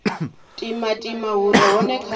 timatima hu re hone kha